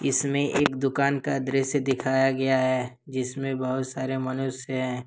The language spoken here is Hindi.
इसमें एक दुकान का दृश्य दिखाया गया है जिसमें बहुत सारे मनुष्य हैं।